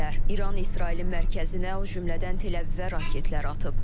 İran İsrailin mərkəzinə, o cümlədən Tel-Əvivə raketlər atıb.